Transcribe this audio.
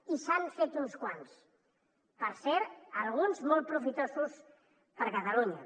i se n’han fet uns quants per cert alguns de molt profitosos per a catalunya